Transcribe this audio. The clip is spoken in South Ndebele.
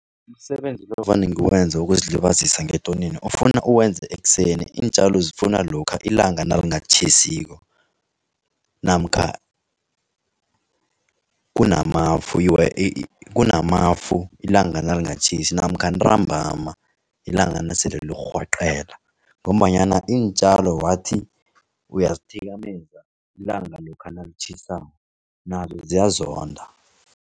Umsebenzi lo vane ngiwenza wokuzilibazisa ngetonini ufuna uwenze ekuseni. Iintjalo zifuna lokha ilanga nalingatjhisiko namkha kunamafu ilanga nalingatjhisi, namkha ntambama ilanga nasele lirhwaqela. Ngombanyana iintjalo wathi uyazithikameza ilanga lokha nalitjhisako nazo ziyazonda.